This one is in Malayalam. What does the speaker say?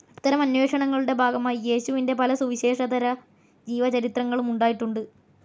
അത്തരം അന്വേഷണങ്ങളുടെ ഭാഗമായി, യേശുവിന്റെ പല സുവിശേഷേതര ജീവചരിത്രങ്ങളും ഉണ്ടായിട്ടുണ്ട്.